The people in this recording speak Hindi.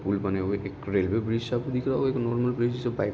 पुल बने हुए एक रेल्वे ब्रिज सा दिख रहा और एक नॉर्मल ब्रिज --